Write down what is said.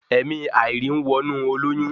Ẹ̀mi àìrí ń wọnú olóyún